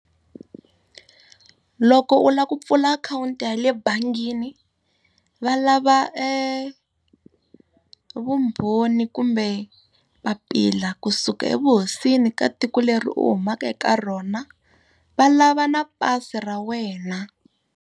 Loko u lava ku pfula akhawunti ya le bangini va lava vumbhoni kumbe papila kusuka evuhosini ka tiko leri u humaka eka rona. Va lava na pasi ra wena.